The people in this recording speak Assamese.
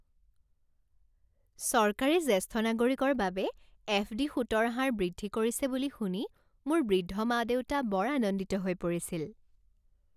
চৰকাৰে জ্যেষ্ঠ নাগৰিকৰ বাবে এফ ডি সুতৰ হাৰ বৃদ্ধি কৰিছে বুলি শুনি মোৰ বৃদ্ধ মা দেউতা বৰ আনন্দিত হৈ পৰিছিল।